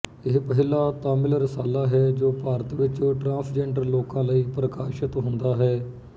ਇਹ ਪਹਿਲਾ ਤਾਮਿਲ ਰਸਾਲਾ ਹੈ ਜੋ ਭਾਰਤ ਵਿੱਚ ਟਰਾਂਸਜੈਂਡਰ ਲੋਕਾਂ ਲਈ ਪ੍ਰਕਾਸ਼ਤ ਹੁੰਦਾ ਹੈ